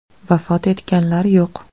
Vafot etganlar yo‘q.